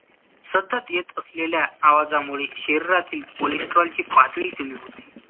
सतत येत असलेल्‍या आवाजामुळे शरीरातील कोलेस्‍ट्रॉलची पातळी कमी होते